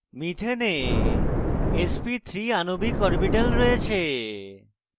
মিথেনে sp3 আণবিক orbital রয়েছে